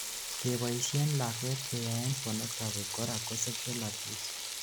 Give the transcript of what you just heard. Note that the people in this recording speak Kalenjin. keboishen lakwet keyaen pornoghraphy korak ko sexual abuse